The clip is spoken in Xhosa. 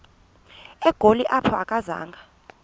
egoli apho akazanga